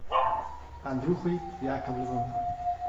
андрюхой яковлевым